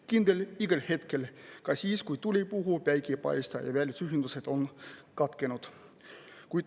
Kindel igal hetkel, ka siis, kui tuul ei puhu ja päike ei paista ja välisühendused katkenud.